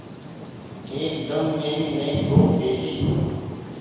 एकदम मेरी नई फ़्रोक जैसी